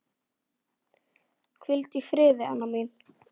Hvíldu í friði, Anna mín.